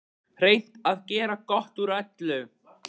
Reynt að gera gott úr öllu.